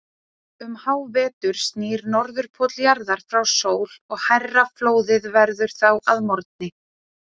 Um hávetur snýr Norðurpóll jarðar frá sól og hærra flóðið verður þá að morgni.